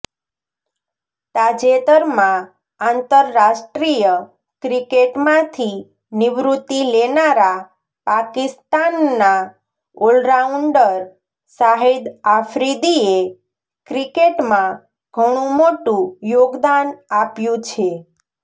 તાજેતરમાં આંતરરાષ્ટ્રીય ક્રિકેટમાંથી નિવૃત્તિ લેનારા પાકિસ્તાનના ઓલરાઉન્ડર શાહિદ આફ્રિદીએ ક્રિકેટમાં ઘણુ મોટું યોગદાન આપ્યું છે